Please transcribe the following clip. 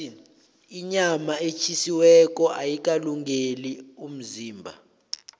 inyama etjhisiweko ayikalungeli umzimba